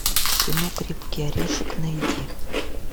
кино крепкий орешек найди